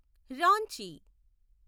Ranchi